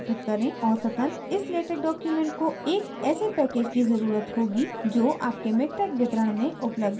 औसतन इस latex document को एक ऐसे package की ज़रुरत होगी जो package miktex वितरण में उपलब्ध नहीं है